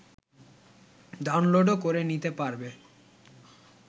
ডাউনলোডও করে নিতে পারবে